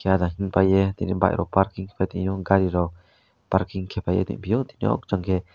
ara him paiyei tini bike rok parking kaipai tongpio tini o jang ke.